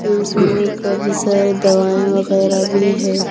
इसमें काफी सारे दवाइयां वगैरह भी है।